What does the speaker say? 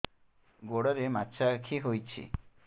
ଗୋଡ଼ରେ ମାଛଆଖି ହୋଇଛି